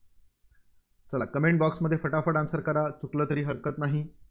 चला Comment box मध्ये फटाफट Answer करा. चुकलं तरी हरकत नाही.